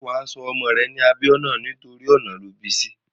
Ṣé wà á sọ ọmọ rẹ̀ ní Abíọ́nà torí ọ̀nà lọ bí sí?